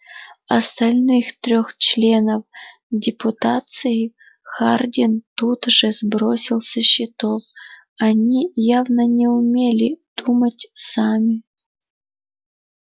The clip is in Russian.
остальных трёх членов депутации хардин тут же сбросил со счетов они явно не умели думать сами